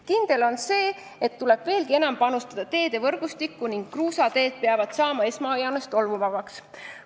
Kindel on see, et teede võrgustikku tuleb veelgi enam panustada ning esmajoones peavad kruusateed tolmuvabaks saama.